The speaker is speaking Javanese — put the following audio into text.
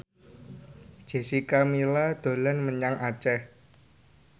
Jessica Milla dolan menyang Aceh